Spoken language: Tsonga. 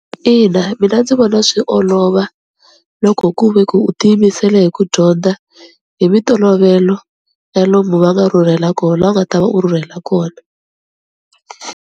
Ina mina ndzi vona swi olova loko ku ve ku u ti yimisele hi ku dyondza hi mintolovelo ya lomu va nga rhurhela kona la u nga ta va u rhurhela kona.